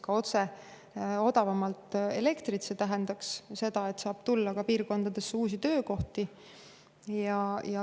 See tähendaks seda, et nendesse piirkondadesse saab tulla ka uusi töökohti.